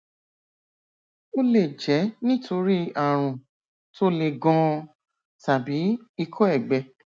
ó lè jẹ nítorí ààrùn tó le ganan tàbí ikọ ẹgbẹ